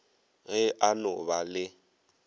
ge a no ba le